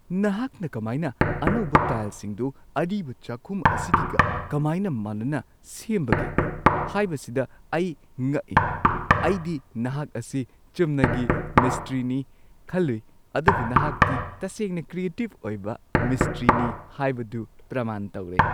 ꯅꯍꯥꯛꯅ ꯀꯃꯥꯢꯅ ꯑꯅꯧꯕ ꯇꯥꯏꯜꯁꯤꯡꯗꯨ ꯑꯔꯤꯕ ꯆꯥꯛꯈꯨꯝ ꯑꯁꯤꯒꯤꯒ ꯀꯔꯝꯅ ꯃꯥꯟꯅꯅ ꯁꯦꯝꯕꯒꯦ ꯍꯥꯏꯕꯁꯤꯗ ꯑꯩ ꯉꯛꯏ꯫ ꯑꯩꯗꯤ ꯅꯍꯥꯛ ꯑꯁꯤ ꯆꯨꯝꯅꯒꯤ ꯃꯤꯁꯇ꯭ꯔꯤꯅꯤ ꯈꯜꯂꯨꯏ ꯑꯗꯨꯕꯨ ꯅꯍꯥꯛꯇꯤ ꯇꯁꯦꯡꯅ ꯀ꯭ꯔꯤꯌꯦꯇꯤꯚ ꯑꯣꯏꯕ ꯃꯤꯁꯇ꯭ꯔꯤꯅꯤ ꯍꯥꯏꯕꯗꯨ ꯄ꯭ꯔꯃꯥꯟ ꯇꯧꯔꯦ꯫